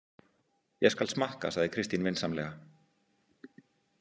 Ég skal smakka, sagði Kristín vinsamlega.